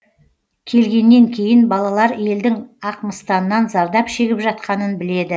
келгеннен кейін балалар елдің ақмыстаннан зардап шегіп жатқанын біледі